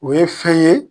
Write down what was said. O ye fɛn ye